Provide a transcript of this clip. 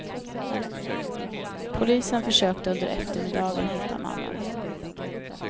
Polisen försökte under eftermiddagen hitta mannen.